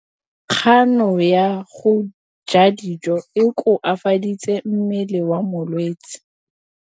Kganô ya go ja dijo e koafaditse mmele wa molwetse.